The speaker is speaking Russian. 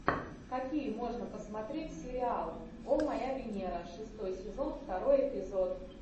какие можно посмотреть сериал о моя венера шестой сезон второй эпизод